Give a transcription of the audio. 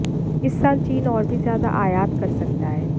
इस साल चीन और भी ज्यादा आयात कर सकता है